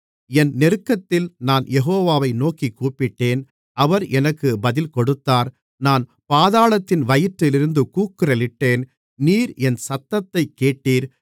என் நெருக்கத்தில் நான் யெகோவாவை நோக்கிக் கூப்பிட்டேன் அவர் எனக்கு பதில் கொடுத்தார் நான் பாதாளத்தின் வயிற்றிலிருந்து கூக்குரலிட்டேன் நீர் என் சத்தத்தைக் கேட்டீர்